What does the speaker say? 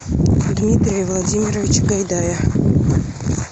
дмитрия владимировича гайдая